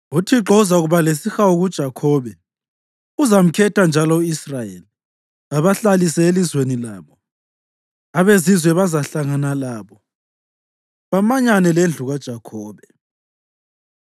UThixo uzakuba lesihawu kuJakhobe; uzamkhetha njalo u-Israyeli, abahlalise elizweni labo. Abezizwe bazahlangana labo bamanyane lendlu kaJakhobe.